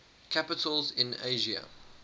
capitals in asia